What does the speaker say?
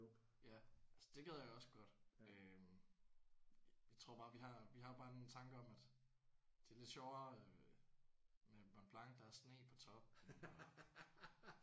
Ja ja altså det gad jeg også godt øh jeg tror bare vi har vi har bare en tanke om at det er lidt sjovere øh med Mont Blanc. Der er sne på toppen og